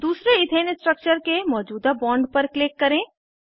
दूसरे ethane structure के मौजूदा बॉन्ड पर क्लिक करें